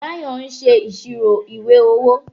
Bayo ń ṣe ìṣirò ìwé owó